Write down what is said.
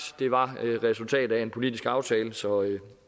var det resultatet af en politiske aftale så